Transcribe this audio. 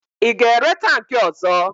Ị ga-ere tankị ọ̀zọ́?